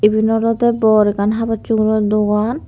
eban olode bor ekkan habor suboro dogan.